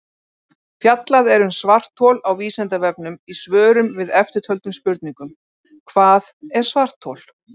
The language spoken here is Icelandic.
Fjallað er um svarthol á Vísindavefnum í svörum við eftirtöldum spurningum: Hvað er svarthol?